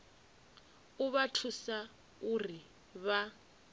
u vha thusa uri vha